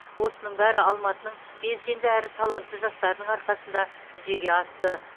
осының бәрі алматының белсенді әрі талантты жастарының арқасында жүзеге асты